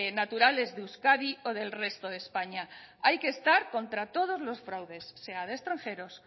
naturales de euskadi o del resto de españa hay que estar contra todos los fraudes sea de extranjeros